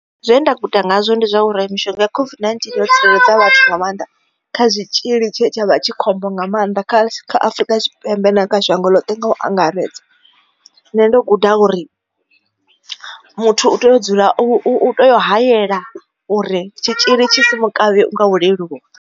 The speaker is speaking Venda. Zwe nda guda ngazwo ndi zwauri mishonga ya COVID-19 yo tsireledza vhathu nga maanḓa kha zwitzhili tshe tshavha tshi khombo nga maanḓa kha Afurika Tshipembe kha shango ḽoṱhe nga u angaredza nṋe ndo guda uri muthu u tea u dzula u tea u hayela uri tshitzhili tshi songo kavhe unga u leluwa.